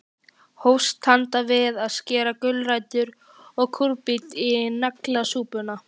Hófst handa við að skera gulrætur og kúrbít í naglasúpuna.